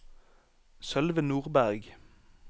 Sølve Nordberg